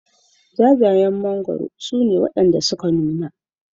Jajayen mangwaro su ne wanda ya nuna